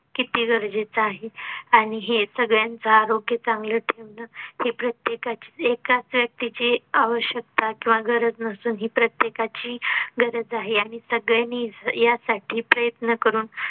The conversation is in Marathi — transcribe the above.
किती गरजेच आहे. आणि हे सगळ्यांच आरोग्य चांगलं ठेवणं हे प्रत्येकाची एकाच व्यक्तीची आवश्यकता किंवा गरज नसून ही प्रत्येकाची गरज आहे. आणि सगळ्यांनी यासाठी प्रयत्न करून